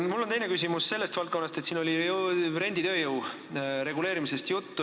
Mul on teine küsimus sellest valdkonnast, et siin oli juttu renditööjõu reguleerimisest.